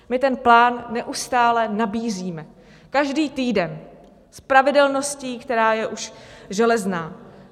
My ten plán neustále nabízíme, každý týden, s pravidelností, která je už železná.